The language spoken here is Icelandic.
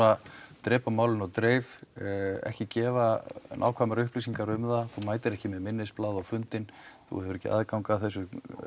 drepa málinu á dreif ekki gefa nákvæmar upplýsingar um það þú mætir ekki með minnisblað á fundinn þú hefur ekki aðgang að þessum